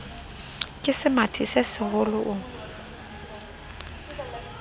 ke semathi se seholo o